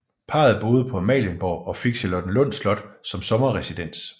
Parret boede på Amalienborg og fik Charlottenlund Slot som sommerresidens